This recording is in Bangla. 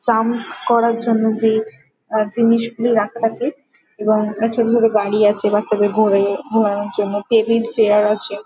চান করার জন্য যে আ জিনিসগুলি রাখা আছে এবং অনেক ছোট ছোট গাড়ি আছে বাচ্চাদের ঘোরে ঘোরানোর জন্য টেবিল চেয়ার আছে ।